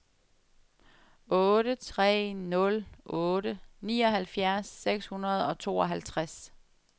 otte tre nul otte nioghalvfjerds seks hundrede og tooghalvtreds